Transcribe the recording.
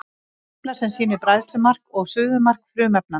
Tafla sem sýnir bræðslumark og suðumark frumefnanna.